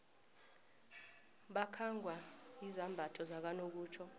bakhangwa izambatho zakanokutjho